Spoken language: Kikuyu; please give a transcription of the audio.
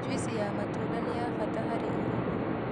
Juici ya matunda ni ya bata hari urimi